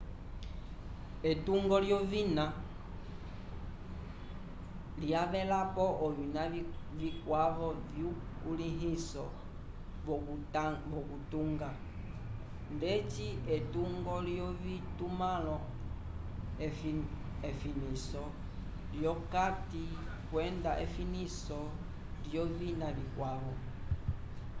etungo lyovina lyavelapo ovina vikwavo vyukulĩhiso wokutunga ndeci etungo lyovitumãlo efiniso lyokati kwenda efiniso lyovina vikwavo